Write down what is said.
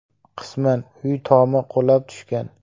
Qisman uy tomi qulab tushgan.